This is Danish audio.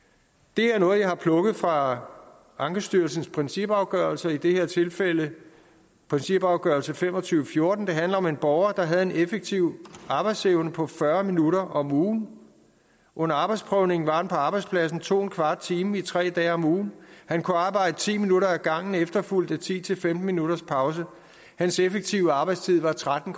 det er noget jeg har plukket fra ankestyrelsens principafgørelser i det her tilfælde principafgørelse fem og tyve til fjorten det handler om en borger der havde en effektiv arbejdsevne på fyrre minutter om ugen under arbejdsprøvningen var han på arbejdspladsen 2¼ time tre dage om ugen han kunne arbejde ti minutter ad gangen efterfulgt af ti til femten minutters pause hans effektive arbejdstid var tretten